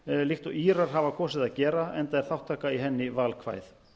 líkt og írar hafa kosið að gera enda er þátttaka í henni valkvæð